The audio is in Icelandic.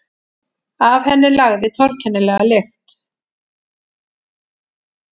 Af henni lagði torkennilega lykt.